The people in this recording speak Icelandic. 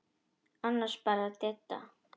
Annars bara Didda.